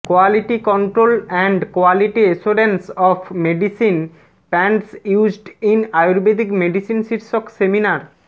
quality control and quality assurance of medicine plants used in Ayurvedic medicine শীর্ষক seminar